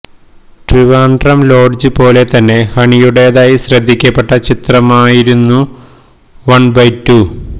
Trivandrum lodge പോലെ തന്നെ ഹണിയുടെതായി ശ്രദ്ധിക്കപ്പെട്ട ചിത്രമായിരുന്നു വണ് ബൈ ടു